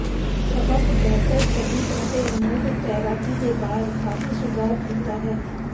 ਸਬਕ ਬਿਹਤਰ ਸਲੀਪ ਅਤੇ ਮੂਡ ਤੈਰਾਕੀ ਦੇ ਬਾਅਦ ਕਾਫ਼ੀ ਸੁਧਾਰ ਕੀਤਾ ਹੈ